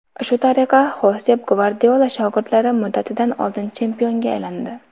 Shu tariqa, Xosep Gvardiola shogirdlari muddatidan oldin chempionga aylandi.